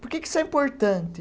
Por que que isso é importante?